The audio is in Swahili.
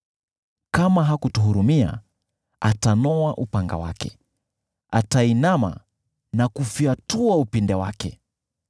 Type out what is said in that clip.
Kama hakutuhurumia, atanoa upanga wake, ataupinda na kuufunga uzi upinde wake.